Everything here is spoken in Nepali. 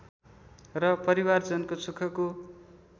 र परिवारजनको सुखको